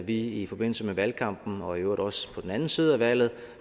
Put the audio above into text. vi i forbindelse med valgkampen og i øvrigt også på den anden side af valget